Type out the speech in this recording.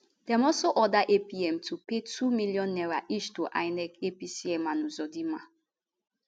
dem also order apm to pay two million naira each to inec apc and uzodinma